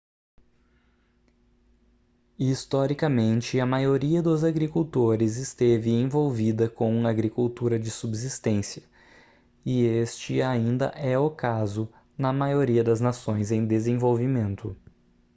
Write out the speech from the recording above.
historicamente a maioria dos agricultores esteve envolvida com agricultura de subsistência e este ainda é o caso na maioria das nações em desenvolvimento